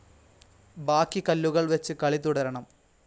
ബാക്കി കല്ലുകൾ വെച്ച് കളി തുടരണം.